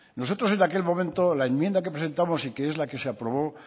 nosotros en aquel momento la enmienda que presentamos y que es la que se aprobó